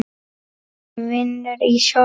Hún vinnur í sjoppu